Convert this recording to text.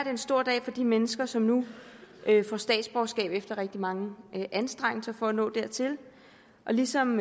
en stor dag for de mennesker som nu får statsborgerskab efter rigtig mange anstrengelser for at nå dertil ligesom